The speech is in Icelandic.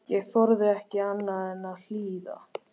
Ég þorði ekki annað en að hlýða.